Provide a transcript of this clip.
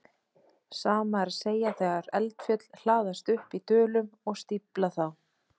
Sama er að segja þegar eldfjöll hlaðast upp í dölum og stífla þá.